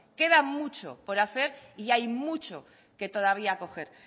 queda mucho por hacer y hay mucho que todavía coger